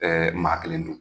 Ɛɛ maa kelen dun.